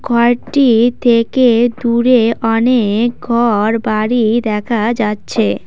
ঘরটি থেকে দূরে অনেক ঘরবাড়ি দেখা যাচ্ছে।